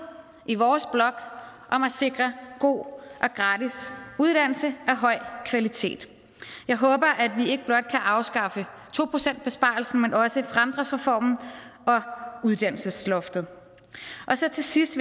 i vores blok om at sikre god og gratis uddannelse af høj kvalitet jeg håber at vi ikke blot kan afskaffe to procentsbesparelsen men også fremdriftsreformen og uddannelsesloftet så til sidst